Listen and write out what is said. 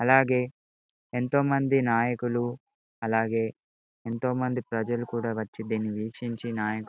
అలాగే ఎంతో మంది నాయకులూ అలాగే ఎంతో మంది ప్రజలూ కూడా వచ్చి దీని వీక్షించి నాయ --